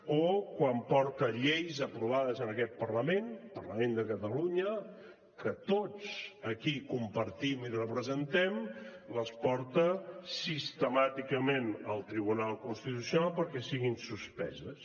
o quan porta lleis aprovades en aquest parlament el parlament de catalunya que tots aquí compartim i representem sistemàticament al tribunal constitucional perquè siguin suspeses